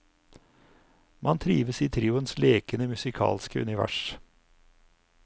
Man trives i trioens lekende musikalske univers.